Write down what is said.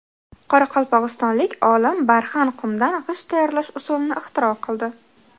Qoraqalpog‘istonlik olim barxan qumdan g‘isht tayyorlash usulini ixtiro qildi.